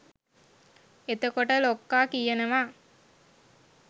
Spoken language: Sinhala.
එතකොට ලොක්කා කියනවා